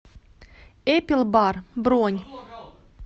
эпилбар бронь